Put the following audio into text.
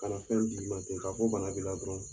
Ka na fɛn d'i ma ten ka fɔ bana b'i la dɔrɔn.